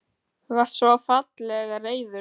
Þú varst svo fallega reiður og.